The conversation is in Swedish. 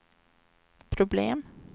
problem